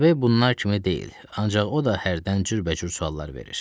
DB bunlar kimi deyil, ancaq o da hərdən cürbəcür suallar verir.